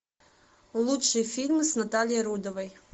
лучшие фильмы с натальей рудовой